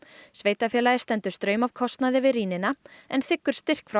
sveitarfélagið stendur straum af kostnaði við rýnina en þiggur styrk frá